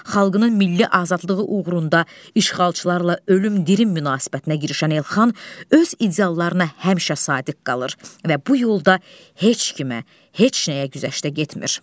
Xalqının milli azadlığı uğrunda işğalçılarla ölüm-dirim münasibətinə girişən Elxan öz ideallarına həmişə sadiq qalır və bu yolda heç kimə, heç nəyə güzəştə getmir.